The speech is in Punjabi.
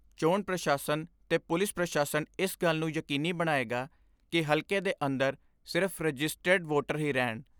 ਚੋਣ ਪ੍ਰਸ਼ਾਸਨ ਤੇ ਪੁਲਿਸ ਪ੍ਰਸ਼ਾਸਨ ਇਸ ਗੱਲ ਨੂੰ ਯਕੀਨੀ ਬਣਾਏਗਾ ਕਿ ਹਲਕੇ ਦੇ ਅੰਦਰ ਸਿਰਫ਼ ਰਜਿਸਟੈਡ ਵੋਟਰ ਹੀ ਰਹਿਣ।